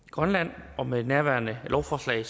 i grønland og med nærværende lovforslag